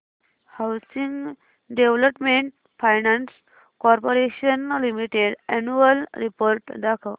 housing development finance corporation limited annual report दाखव